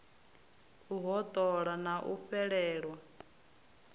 u hoṱola na u fhelelwa